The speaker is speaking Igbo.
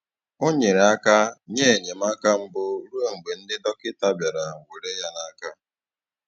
Ọ nyere aka nye enyemaka mbụ ruo mgbe ndị dọkịta bịara were ya n'aka..